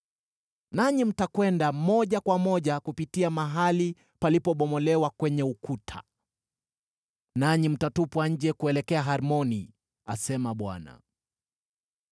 Nanyi mtakwenda moja kwa moja kupitia mahali palipobomolewa kwenye ukuta, nanyi mtatupwa nje kuelekea Harmoni,” asema Bwana .